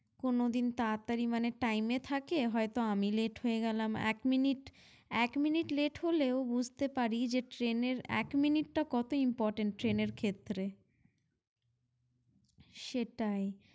কোনোদিন তাড়াতাড়ি মানে time এ থাকে হয়তো আমি late হয়ে গেলাম এক minute এক minute late হলেও বুঝতে পারি যে train এর এক minute টা কতো important train এর ক্ষেত্রে সেটাই ।